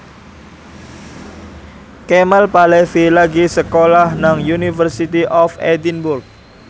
Kemal Palevi lagi sekolah nang University of Edinburgh